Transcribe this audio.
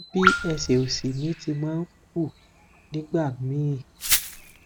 bí ẹsẹ òsì mi tí ma ń ku nígbà míì